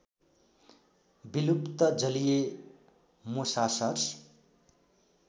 विलुप्त जलिय मोसासर्स